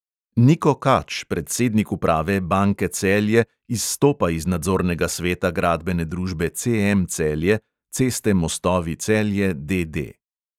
Niko kač, predsednik uprave banke celje, izstopa iz nadzornega sveta gradbene družbe CM celje, ceste mostovi celje, D D.